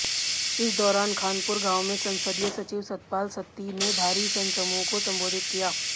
इस दौरान खानपुर गांव में संसदीय सचिव सतपाल सत्ती ने भारी जनसमूह को संबोधित किया